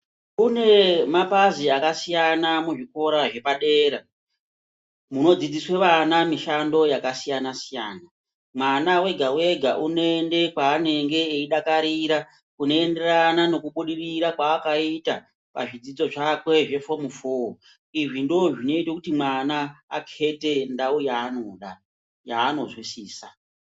Kune mapazi akasiyana muzvikora zvepadera ,munodzidziswe vana mishando dzakasiyana-siyana. Mwana wega-wega unoende kwaanenge eidakarira ,kunoenderana nekubudirira kwaakaita ,pazvidzidzo zvakwe zvefomu foo. Izvi ndozvinoite kuti mwana akhete ndau yaanoda yaanozwisisa.